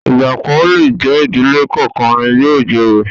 Igba kan o le jẹ ìdílé kánkan ni yóò joyè.